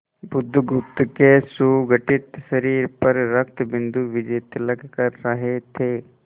बुधगुप्त के सुगठित शरीर पर रक्तबिंदु विजयतिलक कर रहे थे